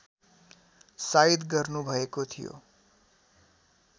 साइत गर्नुभएको थियो